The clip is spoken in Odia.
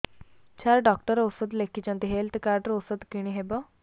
ସାର ଡକ୍ଟର ଔଷଧ ଲେଖିଛନ୍ତି ହେଲ୍ଥ କାର୍ଡ ରୁ ଔଷଧ କିଣି ହେବ